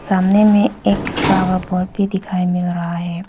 सामने में एक फ्लावर पॉट भी दिखाई मिल रहा है।